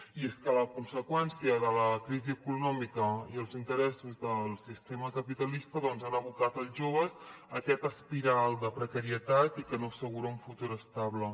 i és que la conseqüència de la crisi econòmica i els interessos del sistema capitalista doncs han abocat els joves a aquesta espiral de precarietat i que no assegura un futur estable